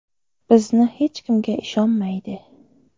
Bizni hech kimga ishonmaydi.